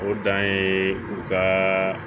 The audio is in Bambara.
O dan ye u ka